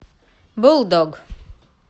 булдог